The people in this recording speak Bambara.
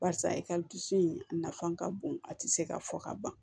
Barisa e ka dusu in a nafa ka bon a ti se ka fɔ ka ban